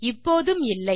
இப்போதும் இல்லை